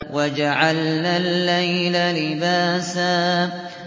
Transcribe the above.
وَجَعَلْنَا اللَّيْلَ لِبَاسًا